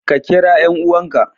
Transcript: Ka kira 'yan'uwanka.